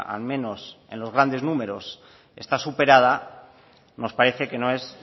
al menos en los grandes números está superada nos parece que no es